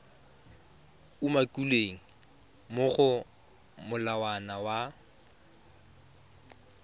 umakilweng mo go molawana wa